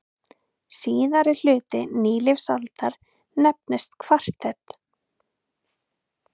Síðari hluti nýlífsaldar nefnist kvarter.